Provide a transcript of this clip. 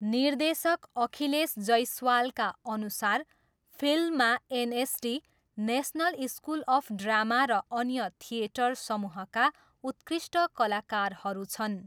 निर्देशक अखिलेश जैसवालका अनुसार फिल्ममा NSD, National School of Drama र अन्य थिएटर समूहका उत्कृष्ट कलाकारहरू छन्।